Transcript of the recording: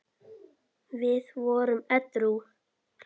Við vorum edrú.